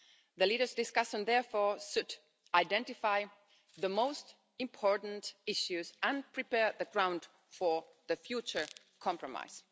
The leaders' discussion therefore should identify the most important issues and prepare the ground for the future compromise.